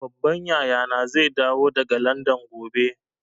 Babban yaya na zai dawo daga Landan gobe